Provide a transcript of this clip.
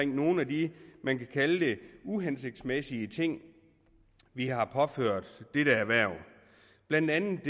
nogle af de uhensigtsmæssige ting vi har påført dette erhverv blandt andet er